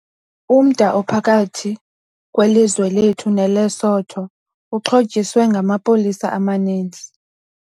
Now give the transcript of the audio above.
Umda ophakathi kwelizwe lethu neLesotho uxhotyiswe ngamapolisa amaninzi.